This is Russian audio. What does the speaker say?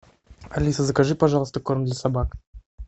алиса закажи пожалуйста корм для собак